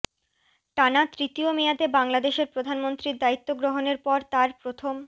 টানা তৃতীয় মেয়াদে বাংলাদেশের প্রধানমন্ত্রীর দায়িত্ব গ্রহণের পর তার প্রথম